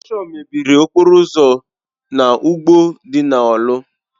Ịròshọn mebiri okporo ụzọ na ugbo dị na Orlu.